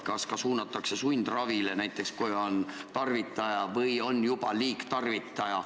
Kas suunatakse ka sundravile, näiteks kui inimene on tarvitaja või juba liigtarvitaja?